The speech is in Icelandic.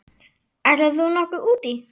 Ætlar þú nokkuð út í?